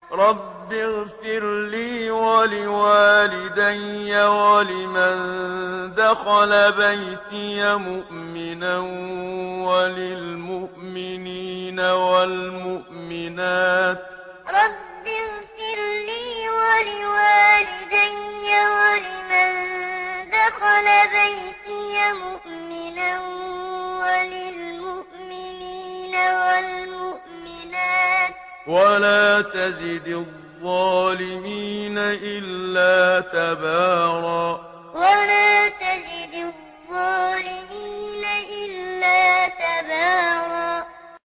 رَّبِّ اغْفِرْ لِي وَلِوَالِدَيَّ وَلِمَن دَخَلَ بَيْتِيَ مُؤْمِنًا وَلِلْمُؤْمِنِينَ وَالْمُؤْمِنَاتِ وَلَا تَزِدِ الظَّالِمِينَ إِلَّا تَبَارًا رَّبِّ اغْفِرْ لِي وَلِوَالِدَيَّ وَلِمَن دَخَلَ بَيْتِيَ مُؤْمِنًا وَلِلْمُؤْمِنِينَ وَالْمُؤْمِنَاتِ وَلَا تَزِدِ الظَّالِمِينَ إِلَّا تَبَارًا